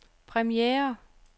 premiere